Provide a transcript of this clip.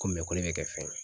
Ko ko ne bɛ kɛ fɛn ye